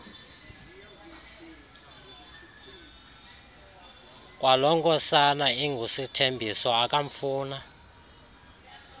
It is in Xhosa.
kwalonkosana ingusithembiso akamfuna